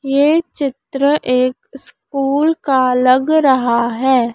ये चित्र एक स्कूल का लग रहा है।